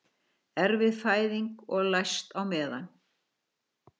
Erfið fæðing og læst á meðan